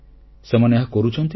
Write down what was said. ସେମାନେ ଏହା କରୁଛନ୍ତି ମଧ୍ୟ